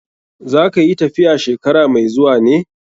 Za ka yi tafiya shekara mai zuwa ne?